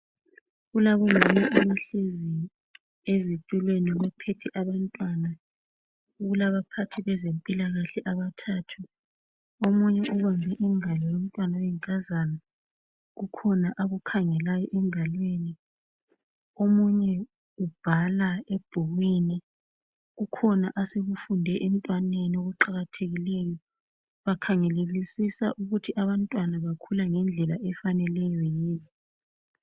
Kulabo mama abahlezi ezitulweni baphethe abantwana kulaba phathi bezempilakahle abathathu. Omunye ubambe ingalo yomntwana oyinkazana kukhona akukhangelayo engalweni. Omunye ubhala ebhukwini kukhona asekufunde emntwaneni okuqakathekileyo bakhangelisisa ukuthi abantwana bakhula ngendlela efaneleyo yini.